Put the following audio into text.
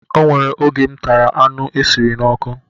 O nwere oge m tara anụ esiri n'ọkụ